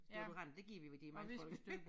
Deodorant det giver vi ved de mange folk